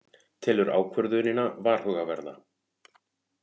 Telur ákvörðunina varhugaverða